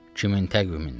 Kimin təqvimindən?